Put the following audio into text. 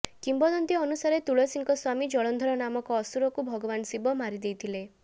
କିମ୍ବଦନ୍ତୀ ଅନୁସାରେ ତୁଳସୀଙ୍କ ସ୍ବାମୀ ଜଳନ୍ଧର ନାମକ ଅସୁରକୁ ଭଗବାନ ଶିବ ମାରିଦେଇଥିଲେ